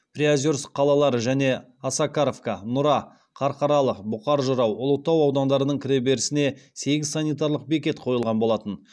приозерск қалалары және осакаров нұра қарқаралы бұқар жырау ұлытау аудандарының кіреберісіне сегіз санитарлық бекет қойылған болатын